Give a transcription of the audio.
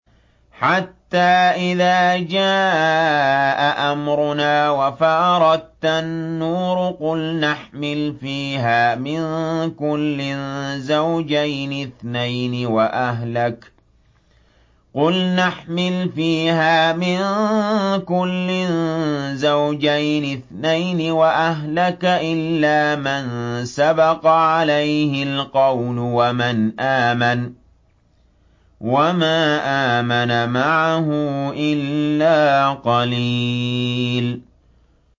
حَتَّىٰ إِذَا جَاءَ أَمْرُنَا وَفَارَ التَّنُّورُ قُلْنَا احْمِلْ فِيهَا مِن كُلٍّ زَوْجَيْنِ اثْنَيْنِ وَأَهْلَكَ إِلَّا مَن سَبَقَ عَلَيْهِ الْقَوْلُ وَمَنْ آمَنَ ۚ وَمَا آمَنَ مَعَهُ إِلَّا قَلِيلٌ